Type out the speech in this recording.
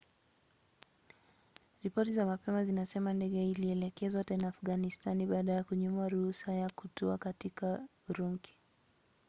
ripoti za mapema zinasema ndege ilielekezwa tena afganistani baada ya kunyimwa ruhusa ya kutua katika urumki